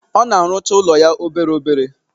Ọ na-arụcha ụlọ ya obere obere.